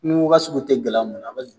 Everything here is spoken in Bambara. Ni n go ka sugu tɛ gala muna